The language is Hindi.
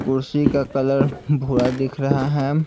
कुर्सी का कलर भूरा दिख रहा है।